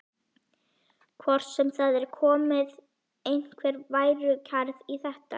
Hvort það sé komin einhver værukærð í þetta?